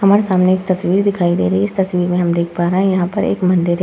हमारे सामने एक तस्वीर दिखाई दे रही है इस तस्वीर में हम देख पा रहे हैं यहाँ पर एक मंदिर है।